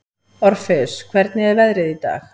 Orfeus, hvernig er veðrið í dag?